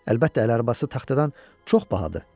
Əlbəttə əl arabası taxtadan çox bahadır.